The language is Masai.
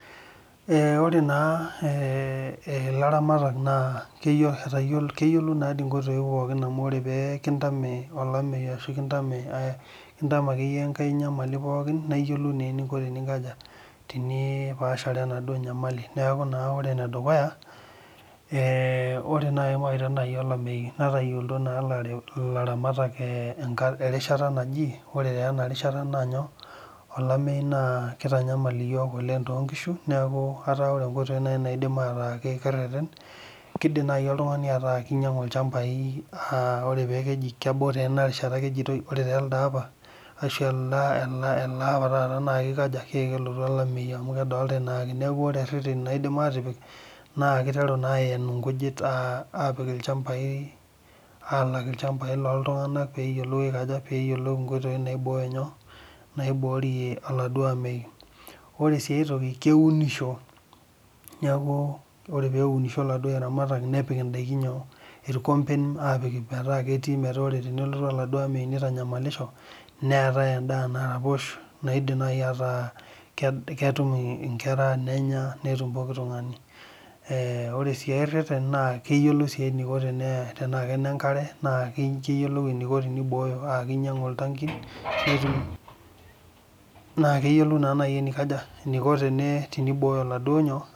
oree naa ilaramatak naa etayioloitoo inkoitoii pookin amu oree pee kintame olameyu aashu kintame ake iyie enkae nyamali pookin naa iyiolou naa eninko teniinkajaa teniipashare enaaduo nyamali neeku naa ore ene dukuya ore naaji mawaita naaji olameyu netayioloito naa ilaramatak erishata naaji oree taa ena rishata naa olameyu naa keitanyamal iyiok oleng too inkiishu neeku ataa oree inkoitoi neidim ataa ekireten keidim naaji oltungani ataa keinyangu ilchambai oree paa kejii kebau taa ena rishata ake ejitoi ore taa elde apa asshu ele apa taata na keiko aja keeku kelotu olameyu amu kedolitai naake neeku ore eritin naaidim atipik naa keiteru naa aen inkujit apik ilchambai , aalak ilchambai looltunganak peeyiolou inkoitoi naiborie olameyu, ore sii aitoki kewunusho neeku ore pee eunisho iladuo aramatak nepik indaiki inyoo irkomben aoik ometaa ketii ometaa tenelotu oladuo ameyu loitanyamalisho neetai endaa naraposh naidim naajii ataa ketum inkera nenya netum pookin tungani oree sii ereten naa keyioloi sii eneiko tenaa kenenkare na keyioloi eneiko teneiboyoo aa keinyangu iltaankin naa keyiolou naaji eneikaja teneiboyo iladuo nyoo..